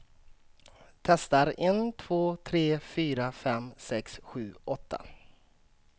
Testar en två tre fyra fem sex sju åtta.